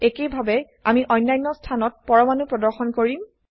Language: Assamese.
একেইভাবে আমি অন্যান্য স্থানত পৰমাণু প্ৰদৰ্শন কৰিম